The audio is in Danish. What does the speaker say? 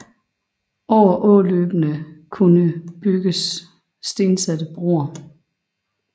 Over åløbene skulle bygges stensatte broer